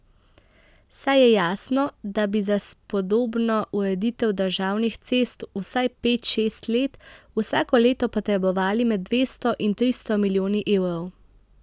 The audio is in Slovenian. Saj je jasno, da bi za spodobno ureditev državnih cest vsaj pet, šest let vsako leto potrebovali med dvesto in tristo milijoni evrov.